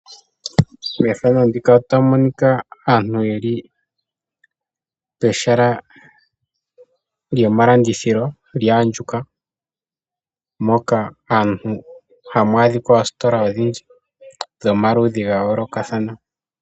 Methano ndika otamu monika aantu yeli pehala lyomalandithilo lya andjuka. Moka hamu adhikwa oositola odhindji dhomaludhi gayolokathana.